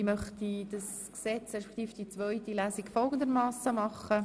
Ich möchte das Gesetz, respektive dessen zweite Lesung, folgendermassen beraten: